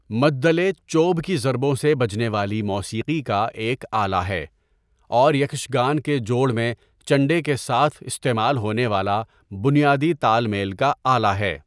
مدّلے چوب کی ضربوں سے بجنے والی موسیقی کا ایک آلہ ہے، اور یکشگان کے جوڑ میں چنڈے کے ساتھ استعمال ہونے والا بنیادی تال میل کا آلہ ہے۔